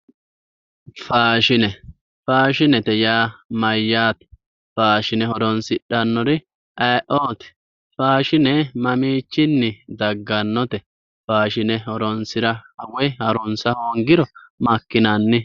Faashine, faashinete yaa mayyaate? Faashine horonsidhannori ayeeooti? Faashine mamiichinni daggannote? Faashine horonsira woy harunsa hoongiro makkinanni?